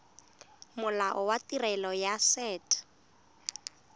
molao wa tirelo ya set